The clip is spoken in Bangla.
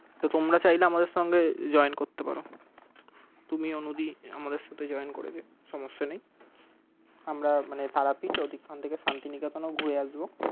তো তোমরা চাইলে আমাদের সাথে join করতে পারো তুমি অনুদি আমাদের সাথে join করে যেও সমস্যা নেই আমরা তারাপীঠ ওখান থেকে শান্তিনিকেতন ঘুরে আসবো।